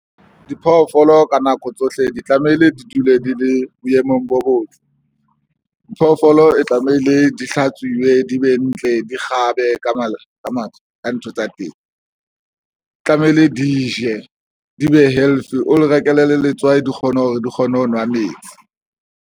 Diphoofolo ka nako tsohle di tlamehile di dule di le boemong bo botle. Phoofolo e tlamehile di hlatsuwe di be ntle, di kgabe ka matla ka matsoho, ka ntho tsa teng tlamehile di je, di be healthy o di rekele le letswai di kgone hore di kgone ho nwa metsi.